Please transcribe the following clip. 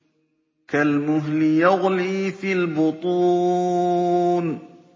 كَالْمُهْلِ يَغْلِي فِي الْبُطُونِ